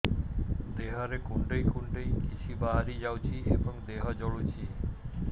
ଦେହରେ କୁଣ୍ଡେଇ କୁଣ୍ଡେଇ କିଛି ବାହାରି ଯାଉଛି ଏବଂ ଦେହ ଜଳୁଛି